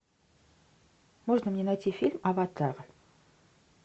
можно мне найти фильм аватар